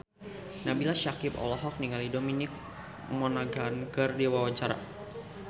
Nabila Syakieb olohok ningali Dominic Monaghan keur diwawancara